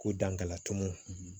Ko dankala tumu